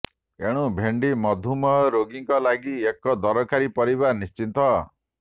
ଏଣୁ ଭେଣ୍ଡି ମଧୁମେହ ରୋଗୀଙ୍କ ଲାଗି ଏକ ଦରକାରୀ ପରିବା ନିଶ୍ଟିତ